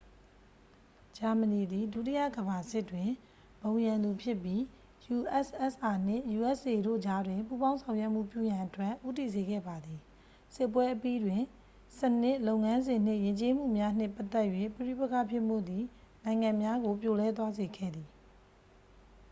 ဂျာမနီသည် ဒုတိယ ကမ္ဘာစစ်တွင် ဘုံရန်သူဖြစ်ပြီး ussr နှင့် usa တို့ကြားတွင် ပူးပေါင်းဆောင်ရွက်မှုပြုရန်အတွက် ဦးတည်စေခဲ့ပါသည် စစ်ပွဲအပြီးတွင် စနစ် လုပ်ငန်းစဉ်နှင့် ယဉ်ကျေးမှုများနှင့်ပတ်သက်၍ ပဋိပက္ခဖြစ်မှုသည် နိုင်ငံများကို ပြိုလဲသွားစေခဲ့သည်